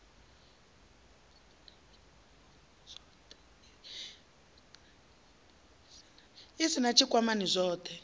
u sin a tshikwamani zwothe